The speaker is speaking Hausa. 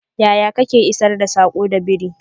yaya Kake isar da sako da biri?